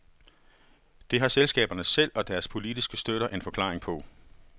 Det har selskaberne selv og deres politiske støtter en forklaring på.